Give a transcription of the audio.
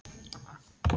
Muntu sitja áfram?